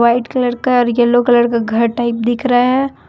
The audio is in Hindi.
व्हाइट कलर का और यलो कलर का घर टाइप दिख रहा है।